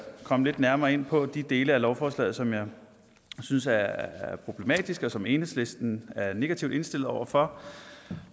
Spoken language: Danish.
komme lidt nærmere ind på de dele af lovforslaget som jeg synes er problematiske og som enhedslisten er negativt indstillet over for